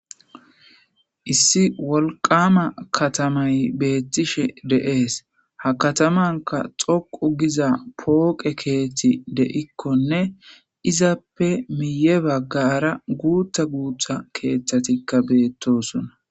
Issi wolkama katamay beettishe dees.ha katamankka dhokku Giza phokke keeththi de'ikkonne izzappe miye baggara guththa guththa keeththatikka beetosonna.